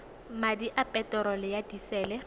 madi a peterolo ya disele